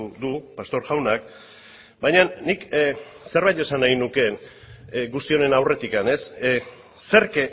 du pastor jaunak baina nik zerbait esan nahi nuke guzti honen aurretik zerk